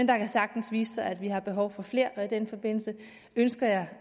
kan sagtens vise sig at vi har behov for flere og i den forbindelse ønsker jeg